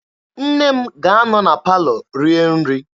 Nne m ga-anọ na palọ rie nri.